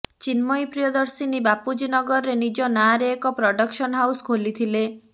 ଚିନ୍ମୟୀ ପ୍ରିୟଦର୍ଶିନୀ ବାପୁଜୀ ନଗରରେ ନିଜ ନାଁରେ ଏକ ପ୍ରଡକ୍ସନ ହାଉସ୍ ଖୋଲିଥିଲେ